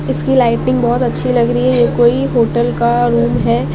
इसकी लाइटिंग बहोत अच्छी लग रही है ये कोई होटल का रूम है।